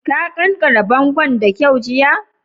Ka ƙanƙare bongon' da kyau jiya?